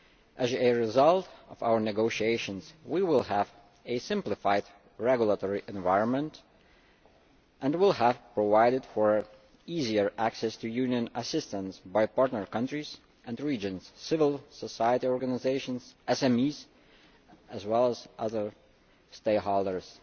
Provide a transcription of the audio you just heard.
As a result of our negotiations we will have a simplified regulatory environment, and will have provided for easier access to Union assistance by partner countries and regions, civil society organisations, SMEs as well as other stakeholders.